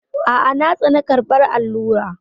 A'a, na tsane karɓar allura.